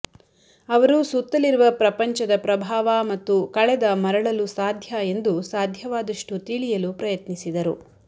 ಅವರು ಸುತ್ತಲಿರುವ ಪ್ರಪಂಚದ ಪ್ರಭಾವ ಮತ್ತು ಕಳೆದ ಮರಳಲು ಸಾಧ್ಯ ಎಂದು ಸಾಧ್ಯವಾದಷ್ಟು ತಿಳಿಯಲು ಪ್ರಯತ್ನಿಸಿದರು